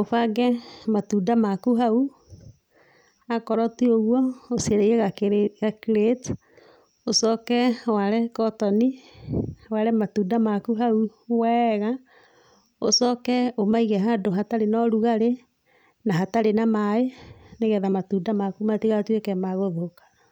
ũbange matunda maku hau. Akorwo ti ũguo ũcarie ga crate, ũcoke ware kotoni ware matunda maku hau wega, ũcoke ũmaige handũ hatarĩ na ũrugarĩ na hatarĩ na maaĩ, nĩgetha matunda maku matigatuĩke ma gũthũka.